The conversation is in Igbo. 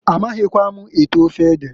A maghikwa m ete ofe ede.